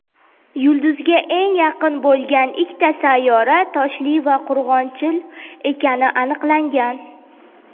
yulduzga eng yaqin bo‘lgan ikkita sayyora toshli va qurg‘oqchil ekani aniqlangan.